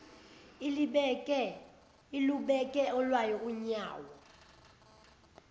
ilubeke olwayo unyawo